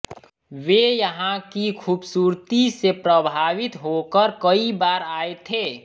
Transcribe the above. वे यहां की खूबसूरती से प्रभावित होकर कई बार आए थे